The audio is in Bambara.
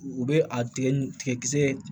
U bɛ a tigɛ ni tigɛ kisɛ